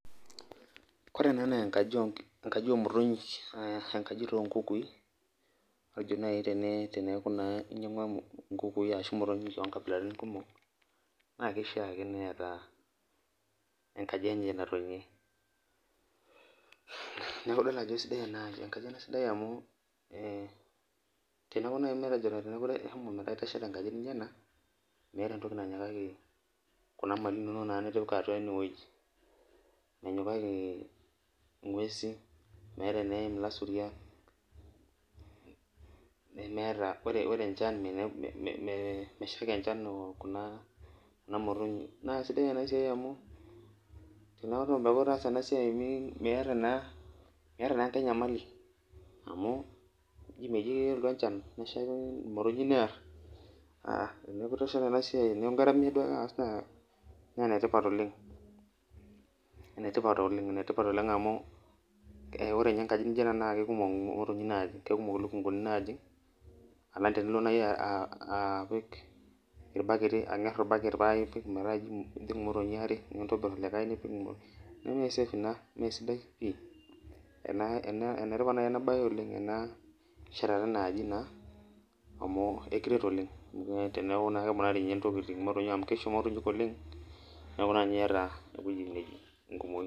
Ore ena naa enkaji omotonyik, ah enkaji taa onkukui, matejo nai teneeku naa inyang'ua inkukui ashu imotonyik onkabilaritin kumok, na keishaa ake neeta enkaji enye natonie. Neeku idol ajo sidai enkaji ena sidai amu eh teneeku nai matejo ishomo metaa itesheta enkaji nijo ena, meeta entoki nanyikaki kuna mali inonok naa nitipika atua inewueji. Menyikaki ing'uesin, meeta eneim ilasuriak, nemeeta ore enchan meshaiki enchan kuna, kuna motinyik. Na kesidai enasiai amu, teneku itaasa enasiai miata naa, miata naa enkae nyamali. Amu ji meji kelotu enchan neshaiki imotonyik neer, ah teneeku itesheta enasiai teneku igaramia duo ake aas naa enetipat oleng. Enetipat oleng, enetipat oleng amu ore nye enkaji nijo ena naa kekumok imotonyi natii. Kekumok ilukunkuni najing, alang' tenilo nai apik irbaketi ang'er orbaket pa ipik metaa ji ejing imotonyi are, nintobir olikae nipik, neme safe ina mesidai pi. Enetipat nai enabae oleng ena shetata enaaji naa, amu ekiret oleng. Teneeku na keponari intokiting imotonyi amu keisho imotonyik oleng, neeku naa nye yata ewueji nejing' enkumoyu.